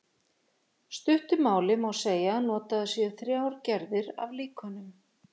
stuttu máli má segja að notaðar séu þrjár gerðir af líkönum